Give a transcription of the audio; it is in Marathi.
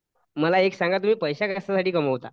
मला एक सांगा तुम्ही पैसे कशासाठी कमवता?